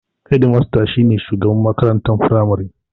Hedimasta shi ne shugaban makarantar firamare.